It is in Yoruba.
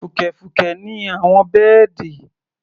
Fùkẹ̀fùkẹ̀ ni àwọn bẹ́ẹ̀dì.